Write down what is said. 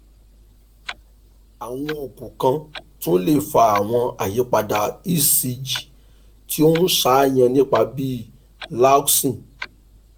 awọn oogun kan tun le fa awọn ayipada ecg ti o n ṣàníyàn nipa bi lanoxin